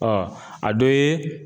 a dɔ ye.